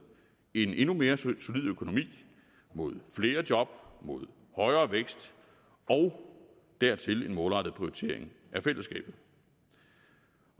en endnu mere solid økonomi mod flere job mod højere vækst og dertil en målrettet prioritering af fællesskabet